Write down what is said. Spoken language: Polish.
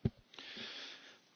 Panie Przewodniczący!